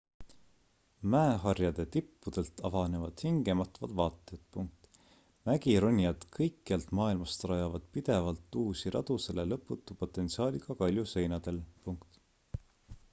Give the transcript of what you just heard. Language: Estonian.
mäeharjade tippudelt avanevad hingematvad vaated mägironijad kõikjalt maailmast rajavad pidevalt uusi radu selle lõputu potentsiaaliga kaljuseinadel